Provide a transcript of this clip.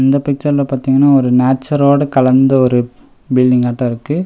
இந்த பிக்சர்ல பாத்தீங்னா ஒரு நேச்சரோட கலந்த ஒரு பில்டிங்காட்டோ இருக்கு.